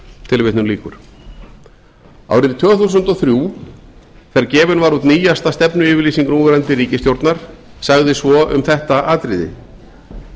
tilvitnun lýkur árið tvö þúsund og þrjú þegar gefin var út nýjasta stefnuyfirlýsing núverandi ríkisstjórnar sagði svo um þetta atriði með